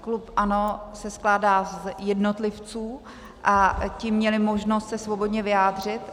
Klub ANO se skládá z jednotlivců a ti měli možnost se svobodně vyjádřit.